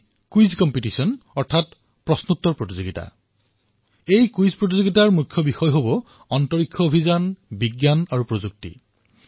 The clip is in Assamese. এই কুইজ প্ৰতিযোগিতাৰ বিষয়বস্তু হব মহাকাশৰ সৈতে জড়িত কৌতুহলসমূহ ভাৰতৰ মহাকাশ অভিযান বিজ্ঞান আৰু প্ৰযুক্তি